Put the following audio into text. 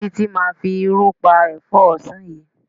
Títí máa fi irú pa ẹ̀fọ́ ọ̀sán yìí.